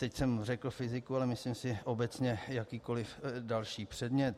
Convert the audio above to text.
Teď jsem řekl fyziku, ale myslím si obecně jakýkoliv další předmět.